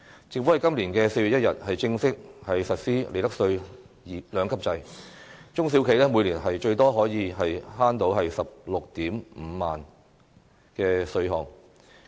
政府在今年4月1日正式實施利得稅兩級制，中小企每年最多可節省 165,000 元的稅項。